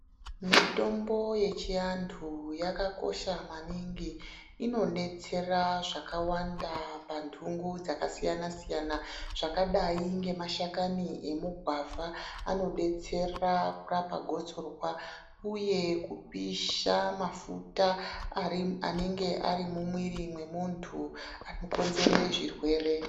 Mitombo yechiantu yakakosha maningi, inodetsera zvakawanda pandungu dzakasiyana-siyana. Zvakadai ngemashakani emugwavha anodetsera kurapa gotsorwa uye kupisha mafuta anenge ari mumwiri mwemuntu anokonzere zvirwere.